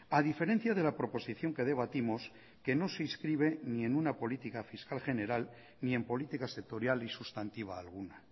a diferencia de la proposición que debatimos que no se inscribe ni en una política fiscal general ni en políticas sectorial y sustantiva alguna